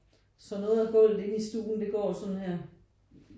Så noget af gulvet inde i stuen det går sådan her